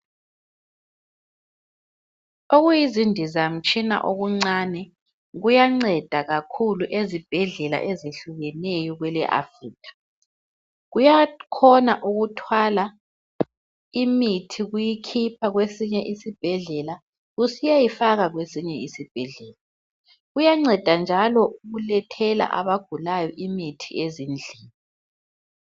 Okuyizindizamtshina okuncane kuyanceda kakhulu ezibhedlela ezehlukeneyo kwele Africa, kuyakhona ukuthwala imithi kuyikhipha kwesinye isibhedlela kusiyayifaka kwesinye isibhedlela kuyanceda njalo ukulethela abagulayo imithi ezindlini.